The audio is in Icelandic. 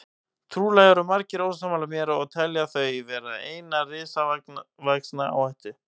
Trúlega eru margir ósammála mér og telja þau vera eina risavaxna áhættu.